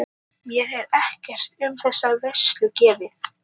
Mér er ekkert um þessa veislu gefið.